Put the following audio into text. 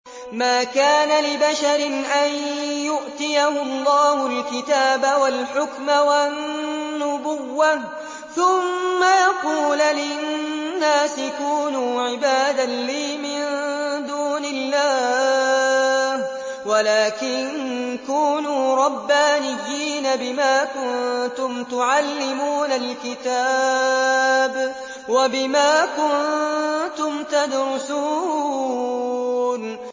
مَا كَانَ لِبَشَرٍ أَن يُؤْتِيَهُ اللَّهُ الْكِتَابَ وَالْحُكْمَ وَالنُّبُوَّةَ ثُمَّ يَقُولَ لِلنَّاسِ كُونُوا عِبَادًا لِّي مِن دُونِ اللَّهِ وَلَٰكِن كُونُوا رَبَّانِيِّينَ بِمَا كُنتُمْ تُعَلِّمُونَ الْكِتَابَ وَبِمَا كُنتُمْ تَدْرُسُونَ